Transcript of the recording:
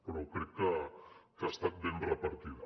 però crec que ha estat ben repartida